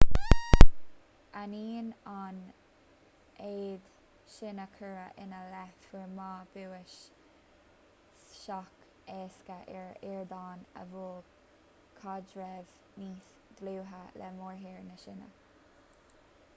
ainneoin an mhéid sin a cuireadh ina leith fuair ma bua sách éasca ar ardán a mhol caidreamh níos dlúithe le mórthír na síne